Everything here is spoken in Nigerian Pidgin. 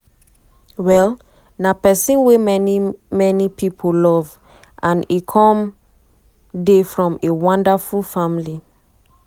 um na pesin wey many many pipo love and e come um from a wonderful family.